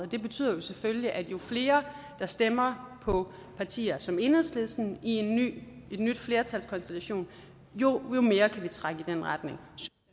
det betyder selvfølgelig at jo flere der stemmer på partier som enhedslisten i en ny flertalskonstellation jo mere kan vi trække i den retning